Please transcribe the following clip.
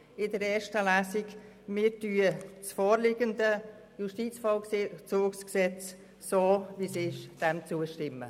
Wir stimmen dem vorliegenden Gesetz in seiner jetzigen Form zu.